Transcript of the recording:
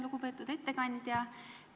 Lugupeetud ettekandja!